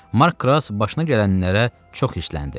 Mark Krass başına gələnlərə çox hissləndi.